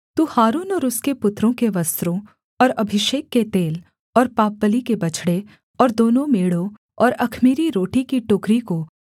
तू हारून और उसके पुत्रों के वस्त्रों और अभिषेक के तेल और पापबलि के बछड़े और दोनों मेढ़ों और अख़मीरी रोटी की टोकरी को